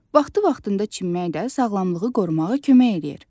Vaxtı-vaxtında çimmək də sağlamlığı qorumağa kömək eləyir.